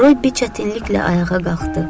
Robbi çətinliklə ayağa qalxdı.